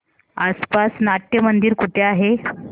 आसपास नाट्यमंदिर कुठे आहे